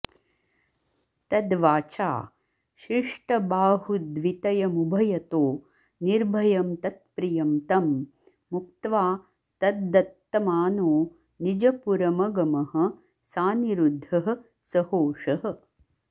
तद्वाचा शिष्टबाहुद्वितयमुभयतो निर्भयं तत्प्रियं तं मुक्त्वा तद्दत्तमानो निजपुरमगमः सानिरुद्धः सहोषः